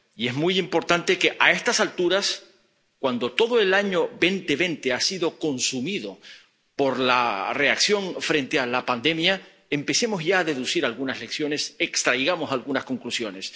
Y es muy importante que, a estas alturas, cuando todo el año 2020 ha sido consumido por la reacción frente a la pandemia, empecemos ya a deducir algunas lecciones, extraigamos algunas conclusiones.